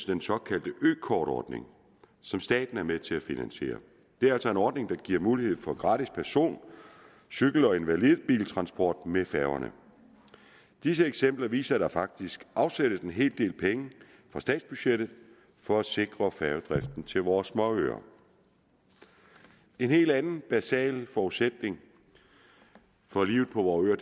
den såkaldte økortordning som staten er med til at finansiere det er altså en ordning som giver mulighed for gratis person cykel og invalidebiltransport med færgerne disse eksempler viser at der faktisk afsættes en hel del penge på statsbudgettet for at sikre færgedriften til vores små øer en helt anden basal forudsætning for livet på vore øer